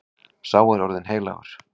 Sá er orðinn heilagur.